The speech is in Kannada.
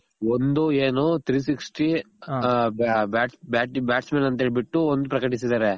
ಒಂದು ಏನು three sixty bats man ಅಂತ ಹೇಳ್ ಬಿಟ್ಟು ಒಂದು ಪ್ರಕಟಿಸಿದಾರೆ